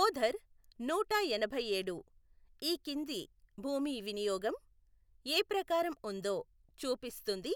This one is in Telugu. ఓధర్ నూట ఎనభైయేడు ఈ కింది భూమి వినియోగం ఏ ప్రకారం ఉందో చూపిస్తుంది